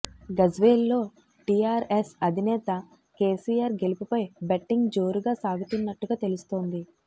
గజ్వేల్లో టీఆర్ఎస్ అధినేత కేసీఆర్ గెలుపుపై బెట్టింగ్ జోరుగా సాగుతున్నట్టుగా తెలుస్తోంది